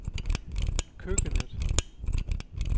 køkkenet